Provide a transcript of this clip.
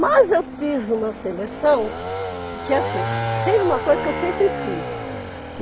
Mas eu fiz uma seleção que, assim, tem uma coisa que eu sempre fiz.